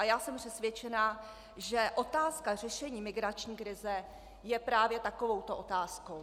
A já jsem přesvědčena, že otázka řešení migrační krize je právě takovouto otázkou.